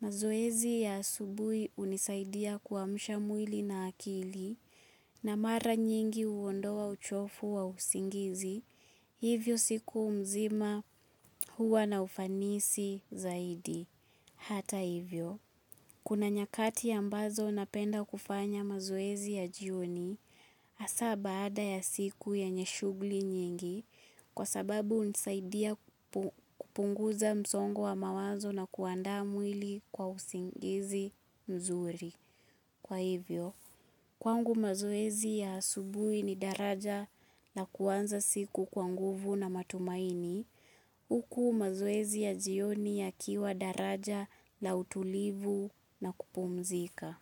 Mazoezi ya asubuhi hunisaidia kuamsha mwili na akili na mara nyingi huondoa uchovu wa usingizi, hivyo siku mzima huwa na ufanisi zaidi. Hata hivyo, kuna nyakati ambazo napenda kufanya mazoezi ya jioni hasa baada ya siku yenye shugli nyingi kwa sababu hunisaidia kupunguza msongo wa mawazo na kuandaa mwili kwa usingizi. Mzuri. Kwa hivyo, kwangu mazoezi ya asubuhi ni daraja la kuanza siku kwa nguvu na matumaini, huku mazoezi ya jioni yakiwa daraja la utulivu na kupumzika.